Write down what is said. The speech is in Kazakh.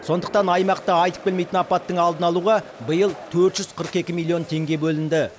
сондықтан аймақта айтып келмейтін апаттың алдын алуға биыл төрт жүз қырық екі миллион теңге бөлінді